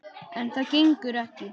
En það gengur ekki.